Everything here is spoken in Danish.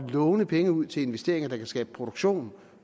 låne penge ud til investeringer der kan skabe produktion